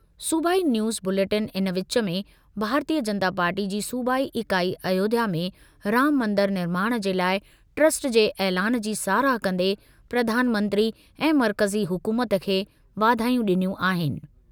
सूबाई news bulletin इन विच में, भारतीय जनता पार्टी जी सूबाई इकाई अयोध्या में राम मंदरु निर्माण जे लाइ ट्रस्ट जे ऐलानु जी साराह कंदे प्रधानमंत्री ऐं मर्कज़ी हुकूमत खे वाधायूं ॾिनियूं आहिनि।